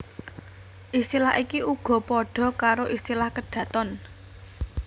Istilah iki uga padha karo istilah kedaton